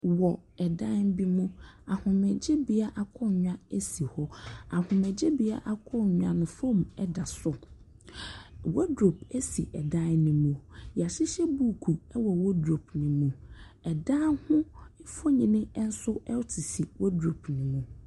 Wɔ dan bi mu. Ahomegyebea akonnwa si hɔ. Ahomegyenea akonnwa no, foam da so. Wardrobe si dan no mu. Wɔahyehyɛ buuku wɔ wardrobe no mu. Dan ho mfonin nso sisi wardrobe no mu.